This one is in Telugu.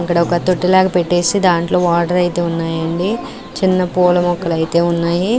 అక్కడ తొట్టి లాగ పెట్టేసి దాంట్లో వాటర్ ఐతే ఉన్నాయి అండి చిన్న ఫ్యూల మొక్కలు ఐతే ఉన్నాయి --